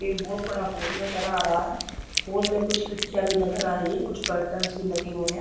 एक बहुत बड़ा होल नज़र आ रहा है होल में कुछ खिड़कियाँ भी नज़र आ रही है कुछ कर्टंस भी लगे हुए हैं।